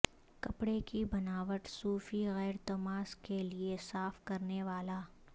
کپڑے کی بناوٹ سوفی غیرتماس کے لئے صاف کرنے والا